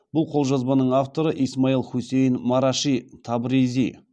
бұл қолжазбаның авторы исмаил хусейни мараши табризи